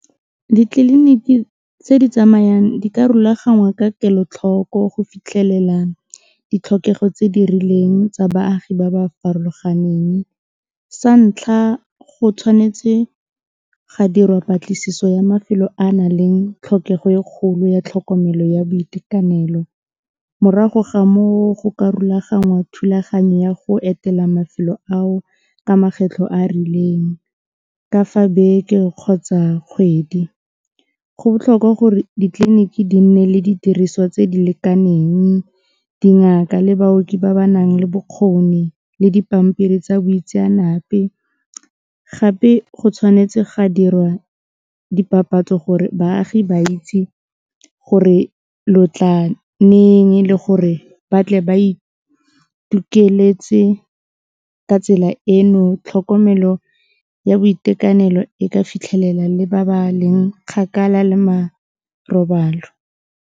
Ditleliniki tse di tsamayang di ka rulaganngwa ka kelotlhoko go fitlhelela ditlhokego tse di rileng tsa baagi ba ba farologaneng, sa ntlha go tshwanetse ga dirwa patlisiso ya mafelo a naleng tlhokego e kgolo ya tlhokomelo ya boitekanelo, morago ga moo go ka rulaganngwa thulaganyo ya go etela mafelo ao ka makgetlho a a rileng, ka fa beke kgotsa kgwedi, go botlhokwa gore ditleliniki di nne le didiriswa tse di lekaneng, dingaka le baoki ba ba nang le bokgoni le dipampiri tsa boitseanape gape go tshwanetse ga dirwa dipapatso gore baagi ba itse gore lotla le gore batle ba ka tsela eno tlhokomelo ya boitekanelo e ka fitlhelela le ba baleng kgakala le marobalo.